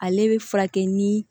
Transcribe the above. Ale bɛ furakɛ ni